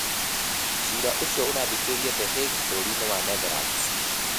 Ciira ũcio ũrathikĩrĩrio The Hague bũrũri-inĩ wa Netherlands.